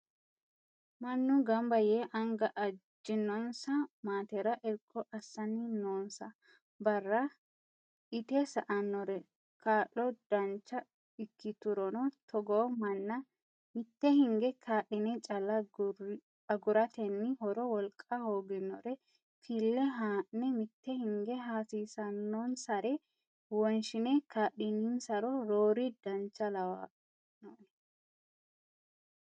Mannu gamba yee anga ajinonsa maatera irko assanni noonsa barra ite sa"anore kaa'lo dancha ikkiturono togo manna mite hinge kaa'line calla agurateni horo wolqa hooginore fille ha'ne mite hinge hasiisanonsare wonshine kaa'lininsaro roore dancha lawanoe